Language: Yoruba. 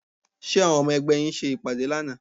Ṣé àwọn ọmọ ẹgbẹ́ yín ṣe ìpàdé lánàá?